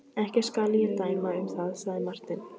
Ekki skal ég dæma um það, sagði Marteinn.